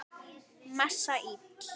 Messa íl.